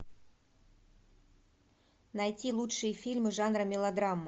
найти лучшие фильмы жанра мелодрама